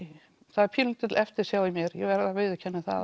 það er pínulítil eftirsjá í mér ég verð að viðurkenna það